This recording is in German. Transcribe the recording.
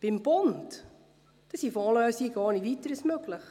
Beim Bund sind Fondslösungen ohne Weiteres möglich.